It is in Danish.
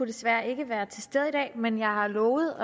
desværre ikke være til stede i dag men jeg har lovet